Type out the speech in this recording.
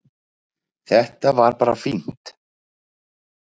Þetta var bara fínt